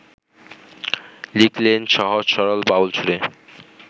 লিখলেন সহজ-সরল বাউল সুরে